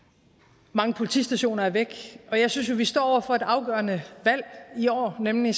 mange politistationer er væk jeg synes jo at vi står over for et afgørende valg i år nemlig